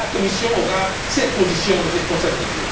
sensible. La Commission aura cette position de responsabilité.